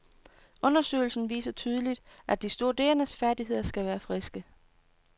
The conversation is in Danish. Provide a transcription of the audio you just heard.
Undersøgelsen viser tydeligt, at de studerendes færdigheder skal være friske.